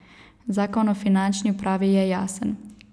Zakon o finančni upravi je jasen.